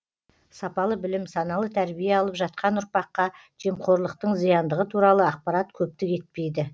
сапалы білім саналы тәрбие алып жатқан ұрпаққа жемқорлықтың зияндығы туралы ақпарат көптік етпейді